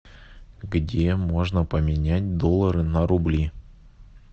где можно поменять доллары на рубли